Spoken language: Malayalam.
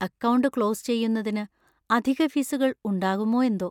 അക്കൗണ്ട് ക്ലോസ് ചെയ്യുന്നതിന് അധിക ഫീസുകള്‍ ഉണ്ടാവുമോ എന്തോ!